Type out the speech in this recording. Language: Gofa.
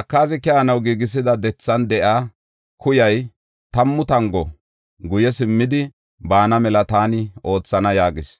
Akaazi keyanaw giigisida dethan de7iya kuyay tammu tango guye simmidi baana mela taani oothana” yaagis.